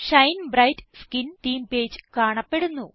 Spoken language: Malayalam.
Shine bright skin theme page കാണപ്പെടുന്നു